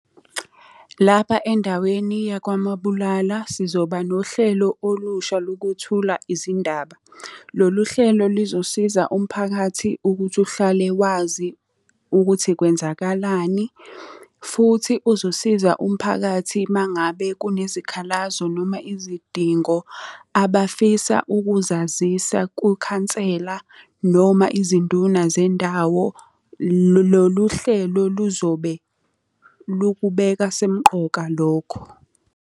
Lapha endaweni yakwaMabulala sizoba nohlelo olusha lokwethula izindaba. Lolu hlelo lizosiza umphakathi ukuthi uhlale wazi ukuthi kwenzakalani, futhi uzosiza umphakathi uma ngabe kunezikhalazo noma izidingo abafisa ukuzazisa kukhansela noma izinduna zendawo. Lolu hlelo luzobe lukubeka semqoka lokho.